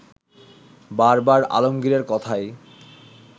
বারবার আলমগীরের কথাই